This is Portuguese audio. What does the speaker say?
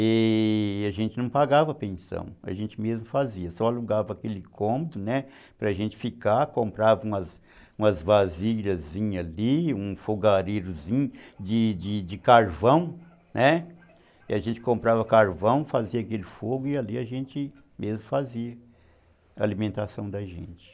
E a gente não pagava pensão, a gente mesmo fazia, só alugava aquele cômodo para a gente ficar, comprava umas vasilhazinhas ali, um fogareiro de carvão, e a gente comprava carvão, né, a gente comprava carvão, fazia aquele fogo e ali a gente mesmo fazia a alimentação da gente.